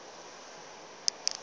ke na le tshepo ya